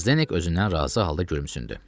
Zdenek özündən razı halda gülümsündü.